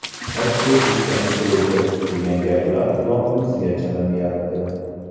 Ochko‘zlikdan o‘ldi, degan gaplar qulog‘imizga chalinyapti.